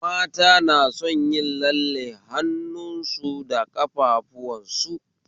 Mata na son yin lalle hannu su da ƙafafuwan su